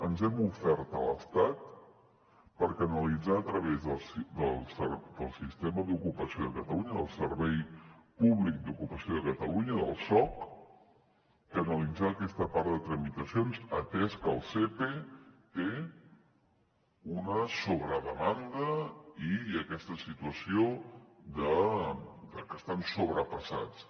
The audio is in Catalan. ens hem ofert a l’estat per canalitzar a través del servei públic d’ocupació de catalunya del soc aquesta part de tramitacions atès que el sepe té una sobredemanda i hi ha aquesta situació de que estan sobrepassats